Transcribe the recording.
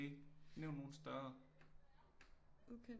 Nævn nogle større